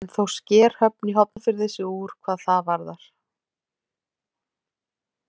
En þó sker Höfn í Hornafirði sig úr hvað það varðar.